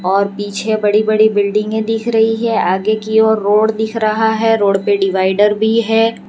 और पीछे बड़ी बड़ी बिल्डिंग में दिख रही है आगे की ओर रोड दिख रहा है रोड पर डिवाइडर भी है।